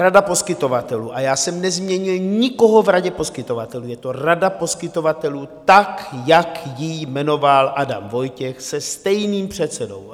Rada poskytovatelů - a já jsem nezměnil nikoho v radě poskytovatelů, je to rada poskytovatelů, tak jak ji jmenoval Adam Vojtěch, se stejným předsedou.